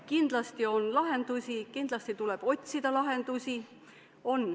Kindlasti on lahendusi, kindlasti tuleb otsida lahendusi.